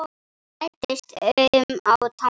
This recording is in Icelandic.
Læddist um á tánum.